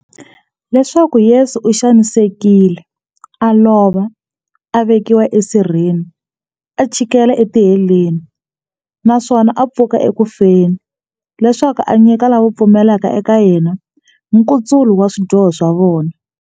Leswaku Yesu u xanisekile, a lova, a vekiwa e sirheni, a chikela e tiheleni, naswona a pfuka eku feni, leswaku a nyika lava va pfumelaka eka yena, nkutsulo wa swidyoho swa vona.